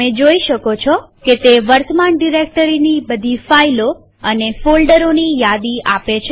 તમે જોઈ શકો છો કે તે વર્તમાન ડિરેક્ટરીની બધી ફાઈલો અને ફોલ્ડરોની યાદી આપે છે